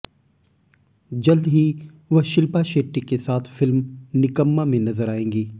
जल्द ही वह शिल्पा शेट्टी के साथ फिल्म निकम्मा में नजर आएंगी